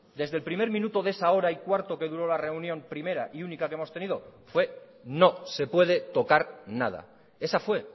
desde el primer minuto de esa hora y cuarto que duró la reunión primera y única que hemos tenido fue no se puede tocar nada esa fue